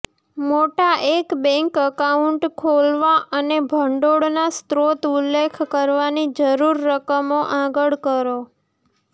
મોટા એક bank account ખોલવા અને ભંડોળના સ્ત્રોત ઉલ્લેખ કરવાની જરૂર રકમો આગળ કરો